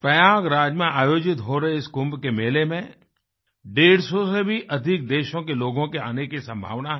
प्रयागराज में आयोजित हो रहे इस कुंभ के मेले में 150 से भी अधिकदेशों के लोगों के आने की संभावना है